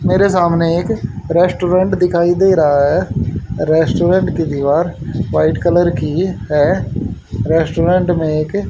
मेरे सामने एक रेस्टोरेंट दिखाई दे रहा है रेस्टोरेंट की दीवार व्हाइट कलर की है रेस्टोरेंट में एक --